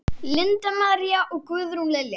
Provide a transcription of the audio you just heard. Linda María og Guðrún Lilja.